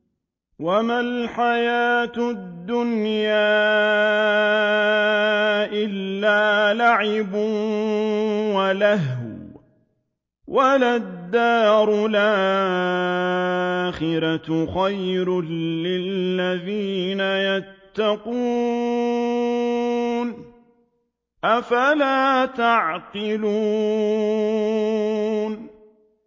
وَمَا الْحَيَاةُ الدُّنْيَا إِلَّا لَعِبٌ وَلَهْوٌ ۖ وَلَلدَّارُ الْآخِرَةُ خَيْرٌ لِّلَّذِينَ يَتَّقُونَ ۗ أَفَلَا تَعْقِلُونَ